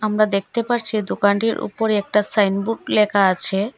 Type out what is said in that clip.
আমরা দেখতে পারছি দোকানটির ওপরে একটা সাইনবোর্ড লেখা আছে।